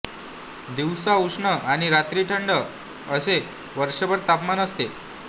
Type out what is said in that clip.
दिवसा उष्ण आणि रात्री थंड असे वर्षभर तापमान असते